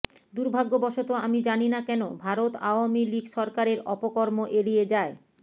দুর্ভাগ্যবশত আমি জানি না কেন ভারত আওয়ামী লীগ সরকারের অপকর্ম এড়িয়ে যায়